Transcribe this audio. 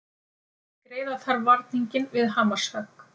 Greiða þarf varninginn við hamarshögg